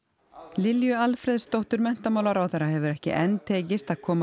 Lilju Alfreðsdóttur menntamálaráðherra hefur ekki enn tekist að koma